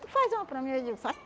Tu faz uma para mim? Eu digo, faço.